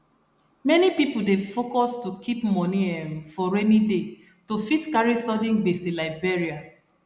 many people dey focus to keep moni um for rainy day to fit carry sudden gbese like burial